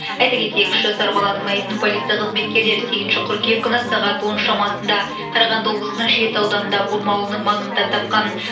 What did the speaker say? айта кетейік үш жасар баланың мәйітін полиция қызметкерлері сегізінші қыркүйек күні сағат он шамасында қарағанды облысының шет ауданында бұрма ауылының маңында тапқан